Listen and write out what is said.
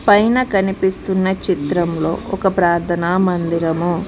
పైన కనిపిస్తున్న చిత్రంలో ఒక ప్రార్థన మందిరము.